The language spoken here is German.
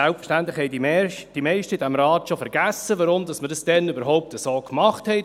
Selbstverständlich haben die meisten hier im Rat schon vergessen, weshalb wir es damals überhaupt so gemacht haben.